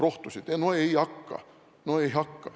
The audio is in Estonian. No ei hakka, no ei hakka!